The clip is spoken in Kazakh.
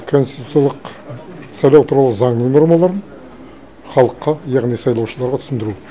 конституциялық сайлау туралы заңның нормаларын халыққа яғни сайлаушыларға түсіндіру